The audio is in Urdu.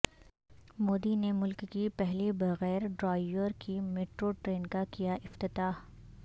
مودی نے ملک کی پہلی بغیر ڈرائیور کی میٹروٹرین کا کیاافتتاح